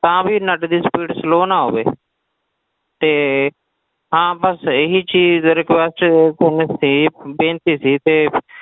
ਤਾਂ ਵੀ net ਦੀ speed slow ਨਾ ਹੋਵੇ ਤੇ ਹਾਂ ਬਸ ਇਹੀ ਚੀਜ਼ request ਬੇਨਤੀ ਬੇਨਤੀ ਸੀ ਤੇ